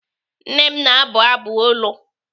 Nne m na-abụ ọbụ olu.